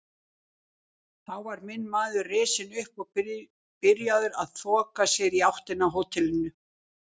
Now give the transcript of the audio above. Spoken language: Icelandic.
Þá var minn maður risinn upp og byrjaður að þoka sér í áttina að hótelinu.